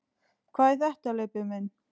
Hvað er þetta, Leibbi minn.